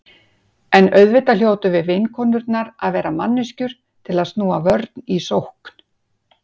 En auðvitað hljótum við vinkonurnar að vera manneskjur til að snúa vörn í sókn.